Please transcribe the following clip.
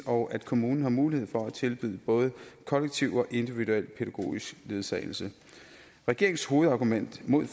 og at kommunerne har mulighed for at tilbyde både kollektiv og individuel pædagogisk ledsagelse regeringens hovedargument imod